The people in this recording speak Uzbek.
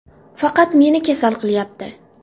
Faqat meni kasal qilyapti.